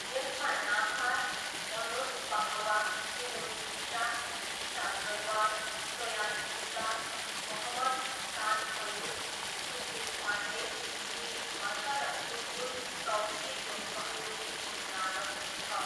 यसमा नासार, मनोज पाहवा, कुमुद मिश्रा, ईशा तलवार, सयानी गुप्ता, मोहम्मद जिशान अयुब, सुशील पाण्डे, विन हर्ष र सुम्बुल तौकिरको सहयोगी भूमिका रहेको छ।